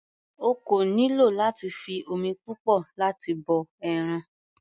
O kò nílò láti fi omi púpọ̀ láti bọ ẹran.